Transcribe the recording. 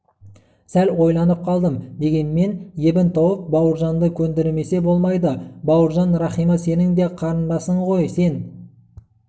сәл ойланып қалдым дегенмен ебін тауып бауыржанды көндірмесе болмайды бауыржан рахима сенің де қарындасың ғой сен